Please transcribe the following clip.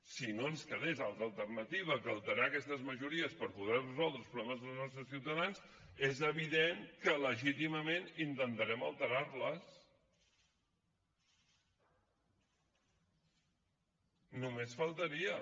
si no ens quedés altra alternativa que alterar aquestes majories per poder resoldre els problemes dels nostres ciutadans és evidentment que legítimament intentarem alterar les només faltaria